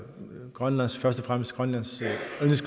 grønland